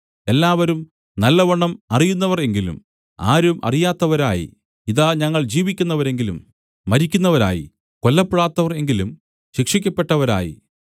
എല്ലാവരും നല്ലവണ്ണം അറിയുന്നവർ എങ്കിലും ആരും അറിയാത്തവരായി ഇതാ ഞങ്ങൾ ജീവിക്കുന്നവരെങ്കിലും മരിക്കുന്നവരായി കൊല്ലപ്പെടാത്തവർ എങ്കിലും ശിക്ഷിക്കപ്പെട്ടവരായി